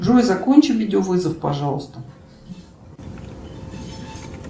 джой закончи видеовызов пожалуйста